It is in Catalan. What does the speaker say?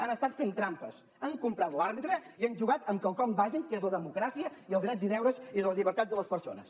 han estat fent trampes han comprat l’àrbitre i han jugat amb quelcom bàsic que és la democràcia i els drets i deures i les llibertats de les persones